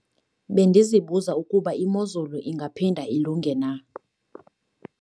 Bendizibuza ukuba imozulu ingaphinda ilunge na?